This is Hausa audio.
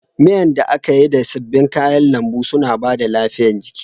Miyan da aka yi da sabbin kayan lambu suna bada lafiya jiki